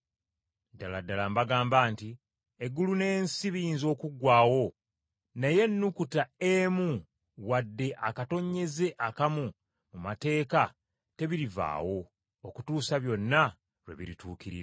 Ddala ddala mbagamba nti Eggulu n’ensi biyinza okuggwaawo, naye ennukuta emu wadde akatonnyeze akamu mu mateeka tebirivaawo okutuusa byonna lwe birituukirira.